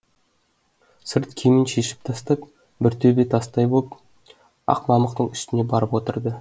сырт киімін шешіп тастап бір төбе тастай боп ақ мамықтың үстіне барып отырды